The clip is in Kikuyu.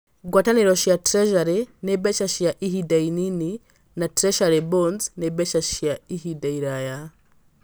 Ngwatanĩro cia Treasury nĩ mbeca cia ihinda inini, na Treasury bonds nĩ mbeca cia ihinda iraya.